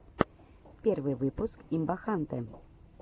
первый выпуск имбахантэ